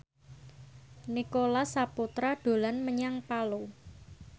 Nicholas Saputra dolan menyang Palu